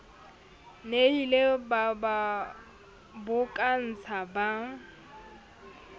nnileng ba ba bokotsa ba